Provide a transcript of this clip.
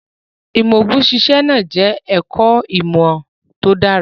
Ìmọ̀ òògùn ṣíṣe náà jẹ́ ẹ̀kọ́ ìmọ̀ tó dára.